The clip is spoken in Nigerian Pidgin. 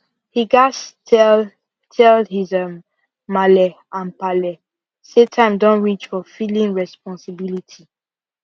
he gas tell tell his um malle and palle say time don reach for filling responsibility